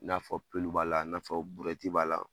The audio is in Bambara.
I n'a fɔ b'a la, i n'a fɔ b'a la